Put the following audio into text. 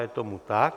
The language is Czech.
Je tomu tak.